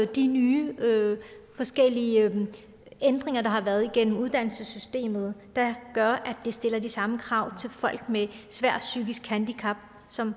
det nye forskellige ændringer der har været af uddannelsessystemet der gør at der stilles de samme krav til folk med svært psykisk handicap som